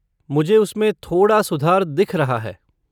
मुझे उसमें थोड़ा सुधार दिख रहा है।